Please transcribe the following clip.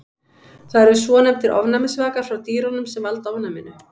Það eru svonefndir ofnæmisvakar frá dýrunum sem valda ofnæminu.